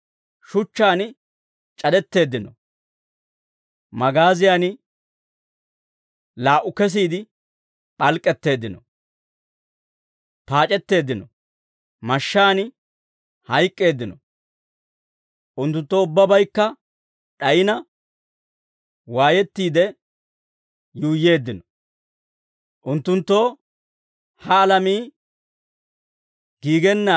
Shuchchaan c'adetteeddino; magaaziyan laa"u kesiide p'alk'k'etteeddino; paac'etteeddino; mashshaan hayk'k'eeddino; unttunttoo ubbabaykka d'ayina, waayettiide tuggattiide, dorssaa c'alaanne deeshshaa c'alaa mayyiide yuuyyeeddino.